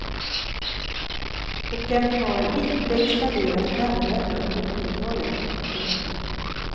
Och den har inte expanderat nämnvärt under åttiotalet. punkt